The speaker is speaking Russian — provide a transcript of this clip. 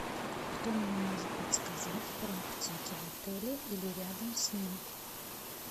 кто мне может подсказать про аптеки в отеле или рядом с ним